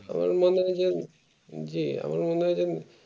আমার মনে হয় যে যে আমার মনে হয় যে